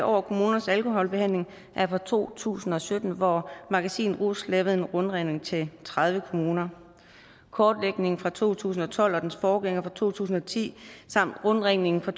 over kommunernes alkoholbehandling er fra to tusind og sytten hvor magasinet rus lavede en rundringning til tredive kommuner kortlægningen fra to tusind og tolv og dens forgænger fra to tusind og ti samt rundringningen fra